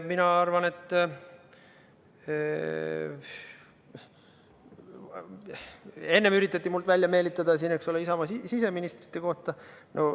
Mina arvan, et enne üritati minult välja meelitada, eks ole, Isamaa siseministrite kohta.